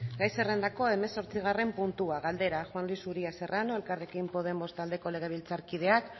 gai zerrendako hamazortzigarren puntua galdera juan luis uria serrano elkarrekin podemos taldeko legebiltzarkideak